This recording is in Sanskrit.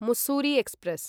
मुस्सूरी एक्स्प्रेस्